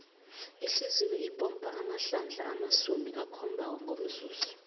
ihliziyo ipompa amahlandla amasumi akhombako ngomzuzu